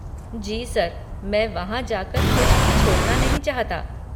जी sir, मैं वहाँ जाकर कुछ भी छोड़ना नहीं चाहता।